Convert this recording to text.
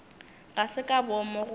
ga se ka boomo goba